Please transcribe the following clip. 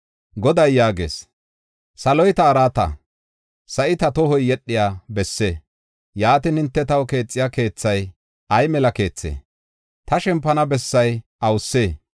Goday yaagees; Saloy ta araata, sa7i ta tohoy yedhiya besse. Yaatin hinte taw keexiya keethay, ay mela keethee? Ta shempana bessay awusee?